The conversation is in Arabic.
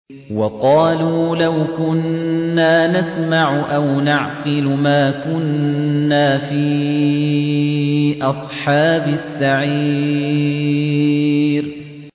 وَقَالُوا لَوْ كُنَّا نَسْمَعُ أَوْ نَعْقِلُ مَا كُنَّا فِي أَصْحَابِ السَّعِيرِ